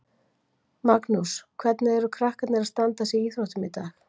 Magnús: Hvernig eru krakkarnir að standa sig í íþróttum í dag?